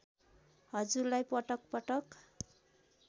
हजुरलाई पटक पटक